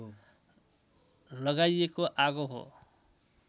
लगाइएको आगो हो